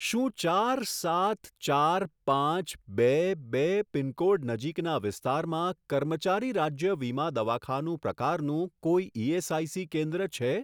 શું ચાર સાત ચાર પાંચ બે બે પિનકોડ નજીકના વિસ્તારમાં કર્મચારી રાજ્ય વીમા દવાખાનું પ્રકારનું કોઈ ઇએસઆઇસી કેન્દ્ર છે?